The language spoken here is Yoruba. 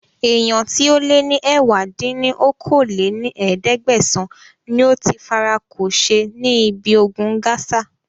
Èèyàn tíì ó lè ní ẹ̀wá dín ní okòó-lé-ní-ẹ̀ẹ́dẹ́gbẹ́sán níí óti fara kò ṣe ní ibi ogun Gaza